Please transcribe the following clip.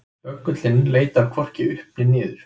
Böggullinn leitar hvorki upp né niður.